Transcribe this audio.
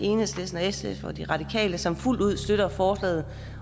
enhedslisten sf og de radikale som fuldt ud støtter forslaget